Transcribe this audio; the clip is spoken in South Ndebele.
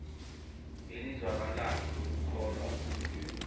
elizwakalako lokukholwa bona